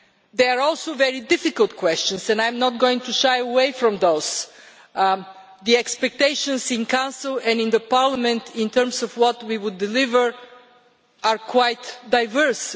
There are also very difficult questions and I am not going to shy away from those. The expectations in Council and in Parliament in terms of what we would deliver are quite diverse.